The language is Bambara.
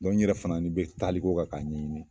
Dɔnku n yɛrɛ fana ni be taliko kan k'a ɲɛɲini